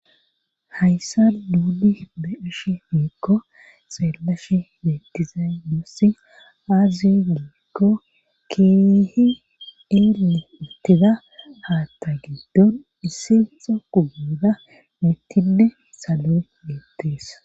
Hayssa nuuli be ashi miikko xeelashi metiza yuussi aazi giikko kihi ille uttida haatta giiddon issinxo kuguda mittinne salon leettees.